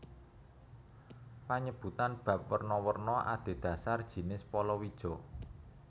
Panyebutan bap werna werna adhedhasar jinis palawija